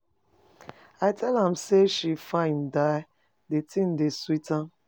I tell am say she fine die, the thing dey sweet am..